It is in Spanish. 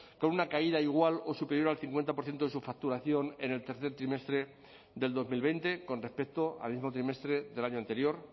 con una caída igual o superior al cincuenta por ciento de su facturación en el tercer trimestre del dos mil veinte con respecto al mismo trimestre del año anterior